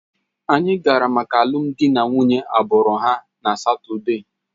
Anyị gara maka alụmdi na nwunye agbụrụ ha na Satọde